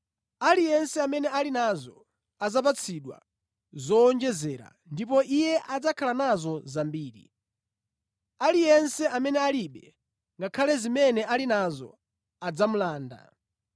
Aliyense amene ali nazo adzapatsidwa zowonjezera ndipo iye adzakhala nazo zambiri. Aliyense amene alibe, ngakhale zimene ali nazo adzamulanda.